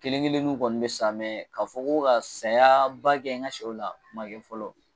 Kelen kelen nu kɔni be sa mɛ ka fɔ ka sayaa ba kɛ n ka sɛw la o ma kɛ fɔlɔ